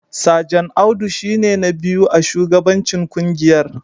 Sajan Audu shi ne na biyu a shugabancin kungiyar